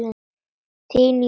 Þín, Jórunn María.